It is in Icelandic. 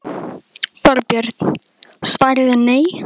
Þorbjörn: Svarið er nei?